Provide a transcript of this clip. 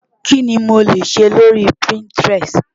Kí ni mo lè ṣe lórí Pinterest?